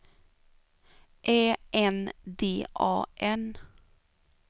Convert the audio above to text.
Ä N D A N